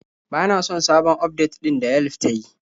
Bana son sabon ufdet ɗin da Yelf ta yi.